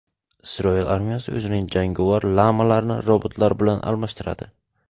Isroil armiyasi o‘zining jangovar lamalarini robotlar bilan almashtiradi.